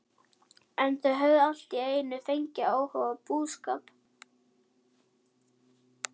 En þau höfðu allt í einu fengið áhuga á búskap.